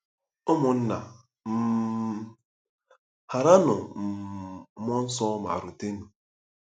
Ụmụnna um — Ghaaranụ um Mmụọ Nsọ ma rutenụ!